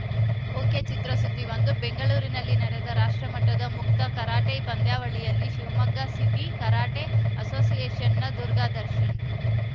ಒಕೆಚಿತ್ರಸುದ್ದಿ ಒಂದು ಬೆಂಗಳೂರಿನಲ್ಲಿ ನಡೆದ ರಾಷ್ಟ್ರ ಮಟ್ಟದ ಮುಕ್ತ ಕರಾಟೆ ಪಂದ್ಯಾವಳಿಯಲ್ಲಿ ಶಿವಮೊಗ್ಗ ಸಿಟಿ ಕರಾಟೆ ಅಸೋಸಿಯೇಷನ್‌ನ ದುರ್ಗಾದರ್ಶನ್‌